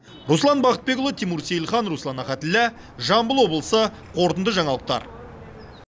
руслан бақытбекұлы тимур сейлхан руслан ахатіллә жамбыл облысы қорытынды жаңалықтар